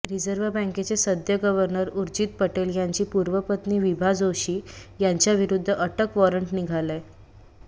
reserve बँकेचे सद्य governor Urjit Patel यांची पूर्व पत्नी विभा जोशी यांच्याविरुद्ध अटक वॉरंट निघालंय